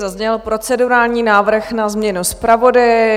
Zazněl procedurální návrh na změnu zpravodaje.